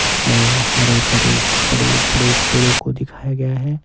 इशमें हरे भरे बड़े बड़े पेड़ों को दिखाया गया है।